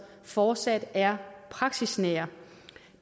fortsat er praksisnære